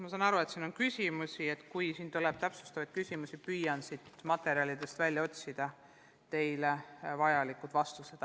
Ma saan aru, et teil on küsimusi, ja kui tuleb täpsustavaid küsimusi, siis ma püüan materjalidest välja otsida teile vajalikud vastused.